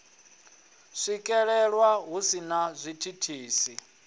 swikelelwa hu si na zwithithisi